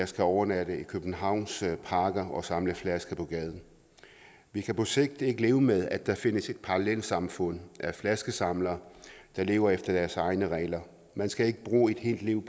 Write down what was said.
skal overnatte i københavns parker og samle flasker på gaden vi kan på sigt ikke leve med at der findes et parallelsamfund af flaskesamlere der lever efter deres egne regler man skal ikke bruge et helt liv